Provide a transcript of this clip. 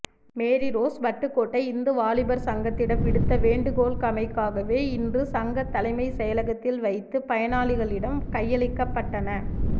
Mary Rose Vaddukoddai இந்து வாலிபர் சங்கத்திடம் விடுத்த வேண்டு கோளுக்கமைவாகவே இன்று சங்க தலைமை செயளகத்தில் வைத்து பயனாளிகளிடம் கையளிக்கபட்டன